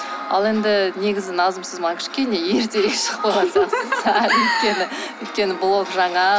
ал енді негізі назым сіз маған кішкене ертерек шығып қойған сияқтысыз өйткені блог жаңа